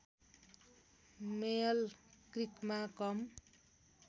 मेयल क्रिकमा कम